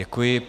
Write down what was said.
Děkuji.